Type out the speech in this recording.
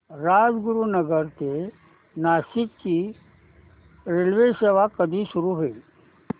राजगुरूनगर ते नाशिक ची रेल्वेसेवा कधी सुरू होईल